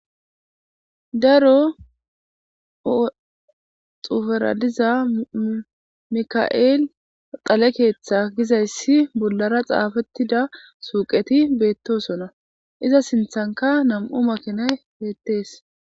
Daro xuuferadiza mika7eel qale keeththa gizayssi bollara xaafettida suuqeti beettosona iza sinthanka nam'u makinay beettees